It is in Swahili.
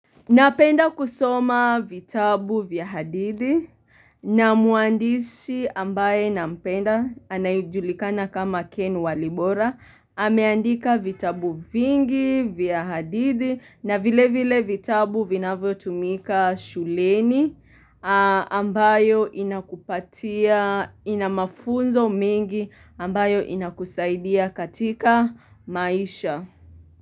Napenda kusoma vitabu vya hadithi na mwandishi ambaye nampenda anajulikana kama Ken Walibora. Ameandika vitabu vingi vya hadithi na vile vile vitabu vinavyo tumika shuleni ambayo inakupatia ina mafunzo mingi ambayo inakusaidia katika maisha.